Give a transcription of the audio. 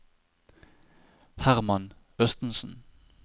Hermann Østensen